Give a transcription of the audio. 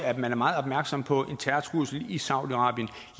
at man er meget opmærksom på en terrortrussel i saudi arabien